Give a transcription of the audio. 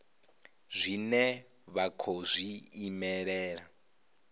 zwine vha khou zwi imelela